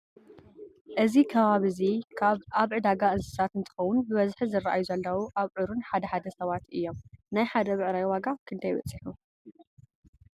እዚ ከባቢእዚ ኣብ ዕዳጋ እንስሳት እንትከው ብበዝሒ ዝረኣዩ ዘለው ኣብዑርን ሓደ ሓደ ሰባት እዮም::ናይ ሓደ ብዕራይ ዋጋ ክንዳይ በፂሑ ?